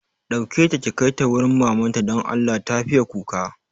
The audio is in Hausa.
Ɗauke ta ki kaita wurin mamanta don Allah, ta fiye kuka